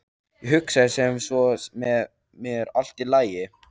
Ég hugsaði sem svo með mér: Allt í lagi.